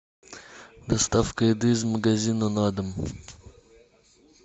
доставка еды из магазина на дом